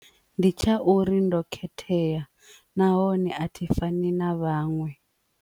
Ndi tsha uri ndo khethea nahone a thi fani na vhaṅwe.